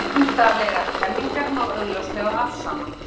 Vísindalegar kenningar má augljóslega afsanna.